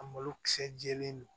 A malokisɛ jɛlen don